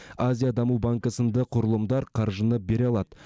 азия даму банкі сынды құрылымдар қаржыны бере алады